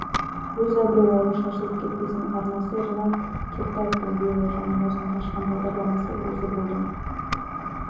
өз абыройларың шашылып кетпесін арнасы ринат кертаевтың биылғы жаңа маусымда ашқан бағдарламасы осы болды ма